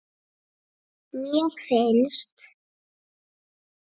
mér finnst